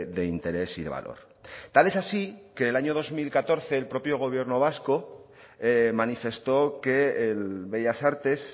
de interés y de valor tal es así que en el año dos mil catorce el propio gobierno vasco manifestó que el bellas artes